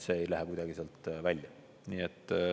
See ei lähe kuidagi sealt välja.